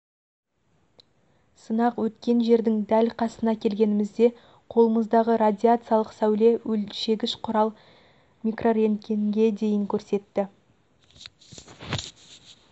сынақ өткен жердің дәл қасына келгенімізде қолымыздағы радиациялық сәуле өлшегіш құрал микрорентгенге дейін көрсетті